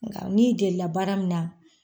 Nka ni delila baara min na.